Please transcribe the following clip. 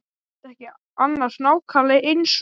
Var þetta ekki annars nákvæmlega eins og.